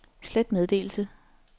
slet meddelelse